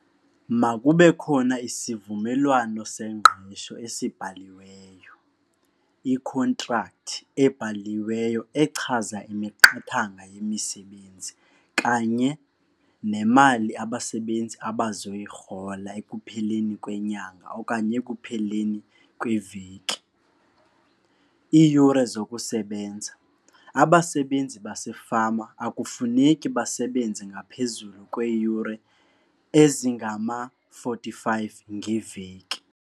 Makube khona isivumelwano sengqesho esibhaliweyo ikhontrakthi ebhaliweyo echaza imiqathanga yemisebenzi kanye nemali abasebenzi abazoyirhola ekupheleni kwenyanga okanye ekupheleni kweveki. Iiyure zokusebenza, abasebenzi basefama akufuneki basebenze ngaphezulu kweeyure ezingama-forty-five ngeveki.